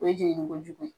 O ye jenini ko jugu ye